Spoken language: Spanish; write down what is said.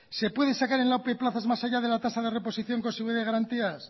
se puede sacar en la ope plazas más allá de la tasa de reposición con de garantías